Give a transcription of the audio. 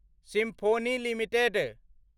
symphony limited